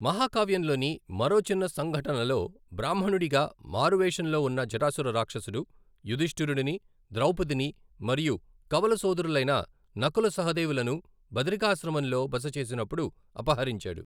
మహాకావ్యంలోని మరో చిన్న సంఘటనలో, బ్రాహ్మణుడిగా మారువేషంలో ఉన్న జటాసుర రాక్షసుడు, యుధిష్ఠిరుడుని, ద్రౌపదిని మరియు కవల సోదరులైన నకుల, సహదేవులను బదరికాశ్రమంలో బస చేసినప్పుడు అపహరించాడు.